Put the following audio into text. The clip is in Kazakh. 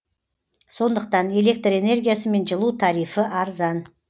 сондықтан электр энергиясы мен жылу тарифі арзан